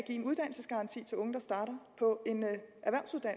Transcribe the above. en uddannelsesgaranti til unge der starter på